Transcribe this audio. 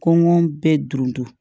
Kɔngɔ bɛ dun